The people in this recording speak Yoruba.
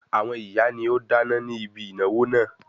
Àwọn ìyá ni ó dáná ní ibi ìnáwó náà.